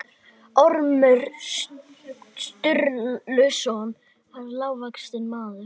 Við storknun kvikunnar skiljast gosgufurnar úr henni, en við storknun bráðarinnar verður til storkuberg.